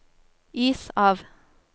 is av